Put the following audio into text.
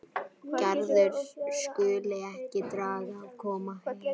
Gerður skuli ekki draga að koma heim.